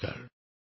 নমস্কাৰ